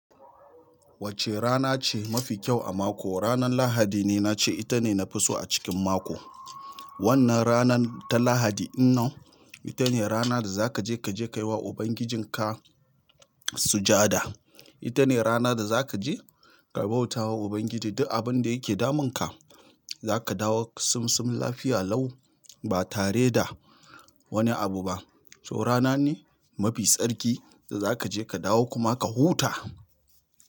Wacce rana ce mafi kyau a mako? Ranar Lahadi ne na ce. Ita ne nafi so a cikin mako. Wannan ranar ta Lahadi, in non ita ne rana da za ka je ka je ka yi wa ubangijinka sujada. Ita ne rana da za ka je ka bauta wa Ubangiji duk abin da yake damunka. Za ka dawo simsim lafiya lau ba tare da wani abu ba. So rana ne mafi tsarki da za ka je ka dawo kuma ka huta.